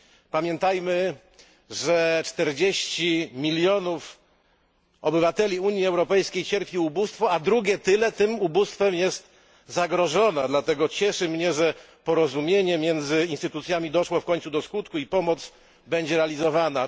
Pamiętajmy, że 40 milionów obywateli Unii Europejskiej cierpi ubóstwo, a drugie tyle tym ubóstwem jest zagrożone, dlatego cieszy mnie, że porozumienie między instytucjami doszło w końcu do skutku i pomoc będzie realizowana.